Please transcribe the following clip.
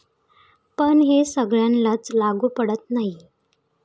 पण हे सगळ्यांनाच लागू पडत नाही.